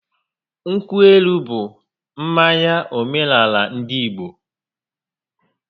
Nkwụ elu bụ mmanya omenaala ndị Igbo